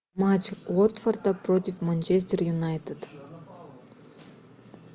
матч уотфорда против манчестер юнайтед